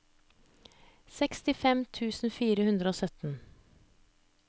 sekstifem tusen fire hundre og sytten